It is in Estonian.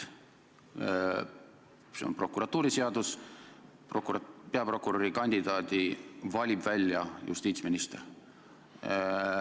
Prokuratuuriseadus ütleb, et peaprokuröri kandidaadi valib välja justiitsminister.